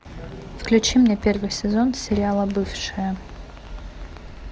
включи мне первый сезон сериала бывшие